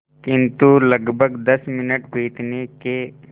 किंतु लगभग दस मिनट बीतने के